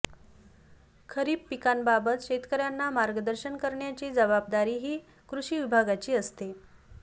खरीप पिकांबाबत शेतकऱयांना मार्गदर्शन करण्याची जबाबदारीही कृषि विभागाची असते